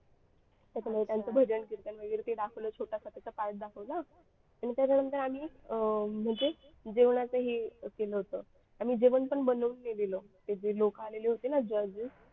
त्याच्यामुळे त्यांचं भजन कीर्तन वगैरे ते दाखवलं छोटासा त्याचा part दाखवला आणि त्याच्यानंतर आम्ही अं म्हणजे जेवणाचे हे केलं होतं आणि जेवण पण बनवून नेलेला ते जे लोक आलेले होते ना judges